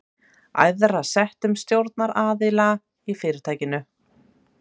æðra settum stjórnaraðila í fyrirtækinu.